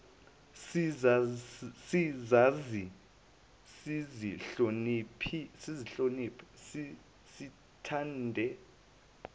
sizazi sizihloniphe sithande